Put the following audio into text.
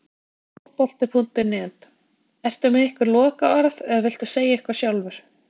Fótbolti.net: Ertu með einhver lokaorð eða viltu segja eitthvað sjálfur?